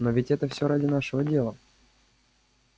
но ведь это все ради нашего дела